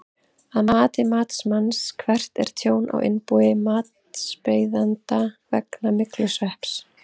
Að mati matsmanns, hvert er tjón á innbúi matsbeiðanda vegna myglusvepps?